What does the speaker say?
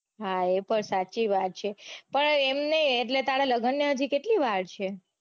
હા એ પણ સાચી વાત છે પણ એમ નઈ એટલે તારા લગન ને હજી કેટલી વાર છે.